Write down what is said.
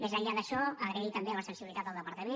més enllà d’això agrair també la sensibilitat al departament